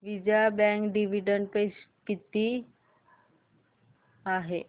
Vijaya bank dividend pay किती आहे